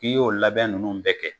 K'i y'o labɛn ninnu bɛɛ kɛ,